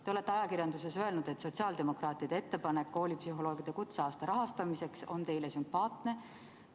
Te olete ajakirjanduses öelnud, et sotsiaaldemokraatide ettepanek koolipsühholoogide kutseaasta rahastamiseks on teile sümpaatne.